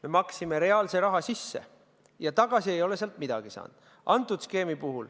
Me maksime reaalse raha sisse ja tagasi ei ole sealt midagi saanud.